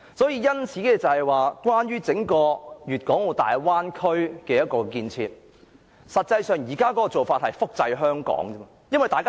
因此，整個大灣區的建設，實際上是複製香港的做法。